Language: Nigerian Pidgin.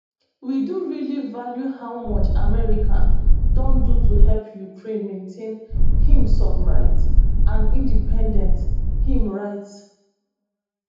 we do really value how much america don do to help ukraine maintain im sovereignty and independence im write